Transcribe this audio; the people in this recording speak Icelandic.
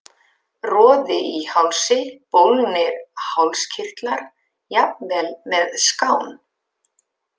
Roði í hálsi, bólgnir hálskirtlar, jafnvel með skán.